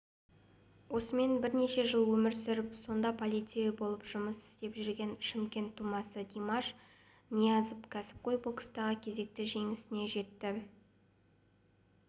осымен бірнеше жыл өмір сүріп сонда полицей болып жұмыс істеп жүрген шымкент тумасы димаш ниязов кәсіпқой бокстағы кезекті жеңісіне жетті